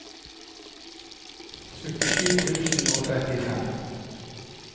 syttisju tusen og trettifem